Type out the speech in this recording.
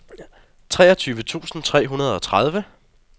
treogtyve tusind tre hundrede og tredive